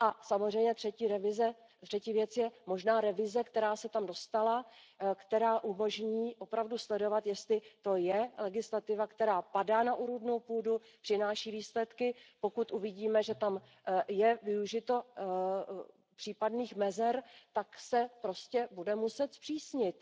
Samozřejmě třetí věc je možná revize, která se tam dostala, která umožní opravdu sledovat, jestli to je legislativa, která padá na úrodnou půdu, přináší výsledky, pokud uvidíme, že tam je využito případných mezer, tak se prostě bude muset zpřísnit.